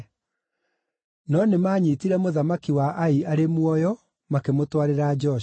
No nĩmanyiitire mũthamaki wa Ai arĩ muoyo, makĩmũtwarĩra Joshua.